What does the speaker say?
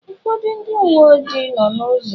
Ụfọdụ ndị uwe ojii nọ n'ụzọ.